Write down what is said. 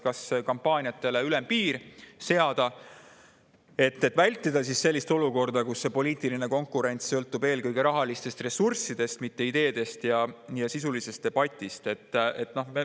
Kas seada kampaaniatele ülempiir, et vältida sellist olukorda, kus poliitiline konkurents sõltub eelkõige rahalistest ressurssidest, mitte ideedest ja sisulisest debatist?